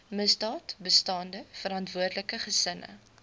misdaadbestande verantwoordelike gesinne